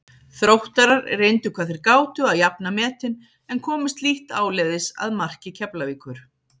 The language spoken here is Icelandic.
Þróttarar reyndu hvað þeir gátu að jafna metin en komust lítt áleiðis að marki Keflavíkur.